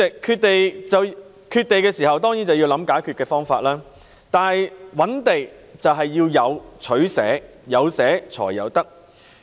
代理主席，缺地時當然便要想解決方法，而覓地便是要有取捨，有捨才有得。